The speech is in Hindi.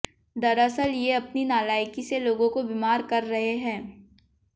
दरअसल ये अपनी नालायकी से लोगों को बीमार कर रहे हैं